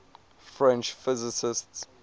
french physicists